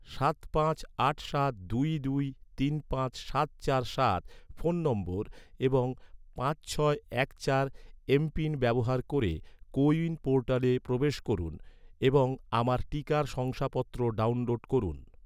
সাত পাঁচ আট সাত দুই দুই তিন পাঁচ সাত চার সাত ফোন নম্বর এবং পাঁচ ছয় এক চার এম.পিন ব্যবহার ক’রে, কো উইন পোর্টালে প্রবেশ করুন এবং আমার টিকার শংসাপত্র ডাউনলোড করুন